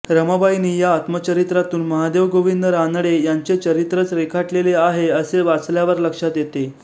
रमाबाईनी या आत्मचरित्रातून महादेव गोविंद रानडे यांचे चरित्रच रेखाटलेले आहे असे वाचल्यावर लक्षात येते